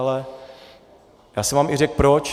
Ale já jsem vám řekl i proč.